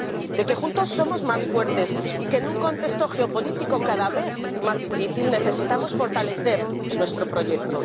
De que juntos somos más fuertes, y de que en un contexto geopolítico cada vez más difícil necesitamos fortalecer nuestro proyecto.